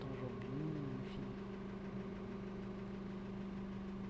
Tom Jobim, enfim eh.